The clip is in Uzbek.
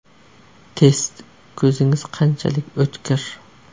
Test: Ko‘zingiz qanchalik o‘tkir?.